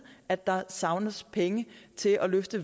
at der savnes penge til at løfte